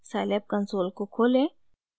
scilab console को खोलें